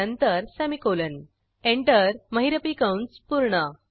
नंतर semicolon enter महिरपी कंस पूर्ण